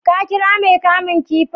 ka kira Mai kamun kifin?